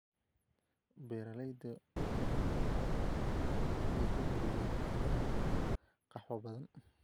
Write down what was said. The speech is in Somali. Beeralayda waa in lagu dhiirigeliyaa inay abuuraan qaxwo badan.